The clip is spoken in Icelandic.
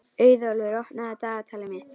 Auðólfur, opnaðu dagatalið mitt.